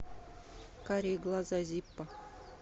карие глаза зиппо